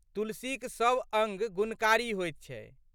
तुलसीक सब अंग गुणकारी होइत छै।